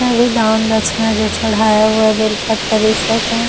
अभी दान दक्षिणा जो भी चढ़ाया हुआ है बेलपत्र इ सब है।